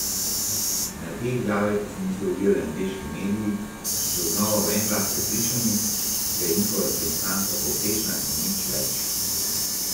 Na te izjave pa se niso ozirali angleški mediji, ki so znova v en glas prepričani, da je njihova reprezentanca povprečna in nič več.